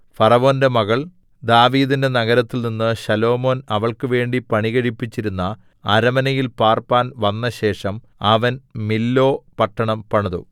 ഫറവോന്റെ മകൾ ദാവീദിന്റെ നഗരത്തിൽനിന്ന് ശലോമോൻ അവൾക്കുവേണ്ടി പണികഴിപ്പിച്ചിരുന്ന അരമനയിൽ പാർപ്പാൻ വന്നശേഷം അവൻ മില്ലോ പട്ടണം പണിതു